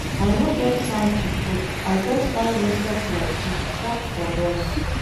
I no get time to cook, I just buy roasted plantain chop for bus.